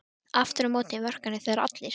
Aftur á móti vorkenna þér allir.